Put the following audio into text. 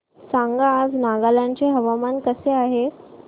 सांगा आज नागालँड चे हवामान कसे आहे